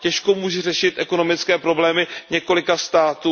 Těžko může řešit ekonomické problémy několika států.